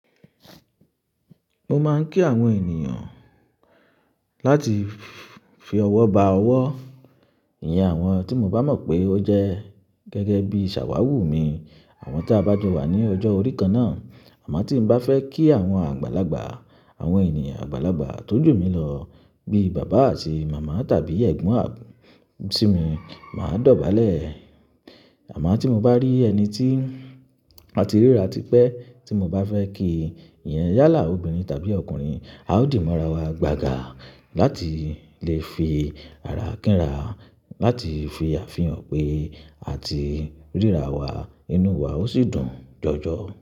Mo máa ń kí àwọn ènìyàn láti fi ọwọ́ ba ọwọ́, ìyẹn àwọn tí mo bá mọ̀ pé ó jẹ́ gẹ́gẹ́ bí ṣàwúù mi, àwọn tí a bá jọ wà ní ọjọ́ orí kan náà. Àmọ́ tí mo bá fẹ́ kí àwọn àgbàlagbà, àwọn ènìyàn àgbàlagbà tójò mi lọ bíi bàbá àti màmá tàbí ẹ̀gbọ́n sì mi, màá dọ̀bálẹ̀. Àmọ́ tí mo bá rí ẹni tí àti ríra ti pẹ́ tí mo bá fẹ́ kí i, ìyẹn yálà obìnrin tàbí ọkùnrin, a ó dì ọ́ mọ́ra wa, gbaga láti le fi ara kíńra, láti fi àfihàn pé àti ríra wa inú wa ó sì dùn jọjọ.